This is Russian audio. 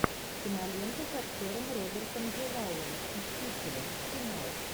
кинолента с актером робертом дювалом мстители финал